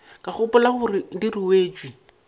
ka gopola gore di ruetšwe